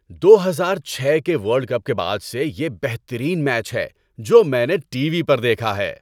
دو ہزار چھ کے ورلڈ کپ کے بعد سے یہ بہترین میچ ہے جو میں نے ٹی وی پر دیکھا ہے۔